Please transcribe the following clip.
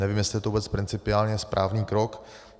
Nevím, jestli je to vůbec principiálně správný krok.